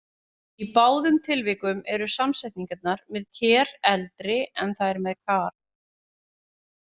Í báðum tilvikum eru samsetningarnar með-ker eldri en þær með-kar.